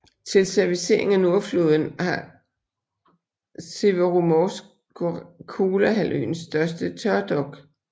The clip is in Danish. Til servicering af Nordflåden har Severomorsk Kolahalvøens største tørdok